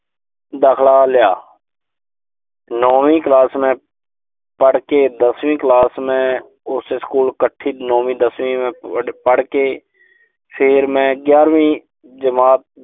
ਦਾਖਲਾ ਲਿਆ। ਨੌਵੀਂ ਕਲਾਸ ਮੈਂ ਪੜ੍ਹ ਕੇ ਦਸਵੀਂ ਕਲਾਸ ਮੈਂ ਉਸੇ ਸਕੂਲ ਇਕੱਠੀ ਨੌਵੀਂ, ਦਸਵੀਂ ਮੈਂ ਪੜ੍ਹ ਕੇ, ਫਿਰ ਮੈਂ ਗਿਆਰਵੀਂ ਜਮਾਤ